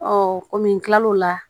kɔmi n kilal'o la